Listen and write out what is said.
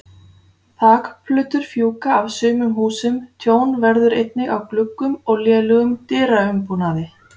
Þakplötur fjúka af sumum húsum, tjón verður einnig á gluggum og lélegum dyraumbúnaði.